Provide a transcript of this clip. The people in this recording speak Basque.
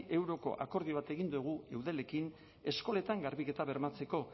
euroko akordio bat egin dugu eudelekin eskoletan garbiketa bermatzeko